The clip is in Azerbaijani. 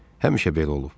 Həmişə belə olub.